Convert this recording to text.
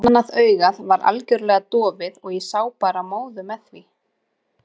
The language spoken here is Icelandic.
Annað augað var algjörlega dofið og ég sá bara móðu með því.